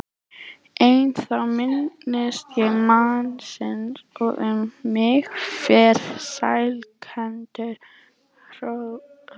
En þá minnist ég mannsins og um mig fer sælukenndur hrollur.